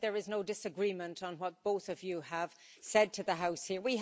I think there is no disagreement on what both of you have said to the House here.